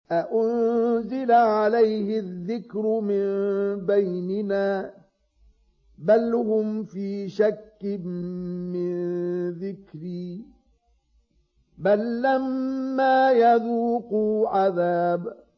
أَأُنزِلَ عَلَيْهِ الذِّكْرُ مِن بَيْنِنَا ۚ بَلْ هُمْ فِي شَكٍّ مِّن ذِكْرِي ۖ بَل لَّمَّا يَذُوقُوا عَذَابِ